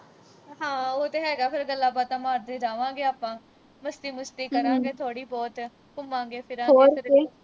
ਹਾਂ ਉਹ ਤਾਂ ਹੈਗਾ ਫਿਰ ਗੱਲਾਂਬਾਤਾਂ ਮਾਰਦੇ ਜਾਵਾਂਗੇ ਆਪਾਂ। ਮਸਤੀ-ਮੁਸਤੀ ਕਰਾਂਗੇ ਥੋੜ੍ਹੀ ਬਹੁਤ ਘੁੰਮਾਂਗੇ-ਫਿਰਾਂਗੇ